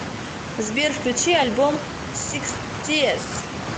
сбер включи альбом сикстиес